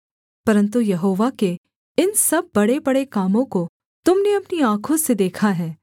परन्तु यहोवा के इन सब बड़ेबड़े कामों को तुम ने अपनी आँखों से देखा है